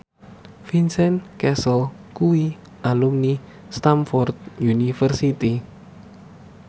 Vincent Cassel kuwi alumni Stamford University